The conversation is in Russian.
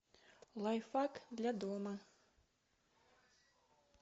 лайфхак для дома